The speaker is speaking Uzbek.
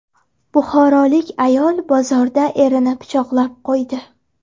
Buxorolik ayol bozorda erini pichoqlab qo‘ydi.